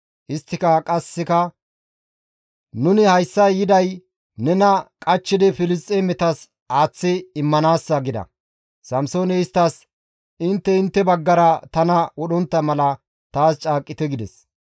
Isttika qasseka, «Nuni hayssa yiday nena qachchidi Filisxeemetas aaththi immanaassa» gida. Samsooney isttas, «Intte intte baggara tana wodhontta mala taas caaqqite» gides.